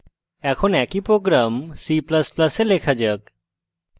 এখন একই program c ++ এ লেখা যাক